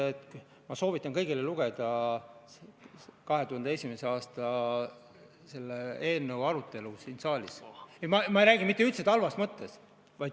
Aitäh!